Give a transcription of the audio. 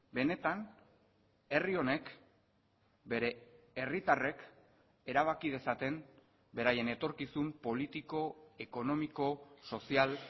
benetan herri honek bere herritarrek erabaki dezaten beraien etorkizun politiko ekonomiko sozial